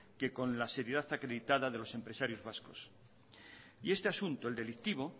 que con la seriedad acreditada de los empresarios vascos y este asunto el delictivo